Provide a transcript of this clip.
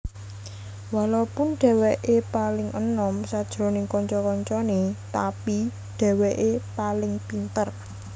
Walopun dheweke paling enom sajroning kanca kancane tapi dheweke paling pinter